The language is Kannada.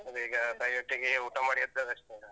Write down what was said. ನಾನೀಗ ತಾಯಿಯೊಟ್ಟಿಗೇ ಊಟ ಮಾಡಿ ಎದ್ದಷ್ಟೇ ಈಗ.